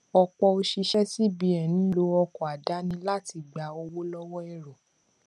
ọpọ òṣìṣẹ cbn ń lo ọkọ àdáni láti gba owó lọwọ èrò